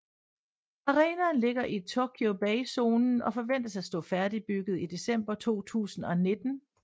Arenaen ligger i Tokyo Bay zonen og forventes at stå færdigbygget i december 2019